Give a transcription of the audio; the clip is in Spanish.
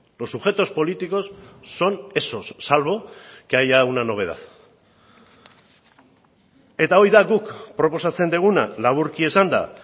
los sujetos políticos son esos salvo que haya una novedad eta hori da guk proposatzen duguna laburki esanda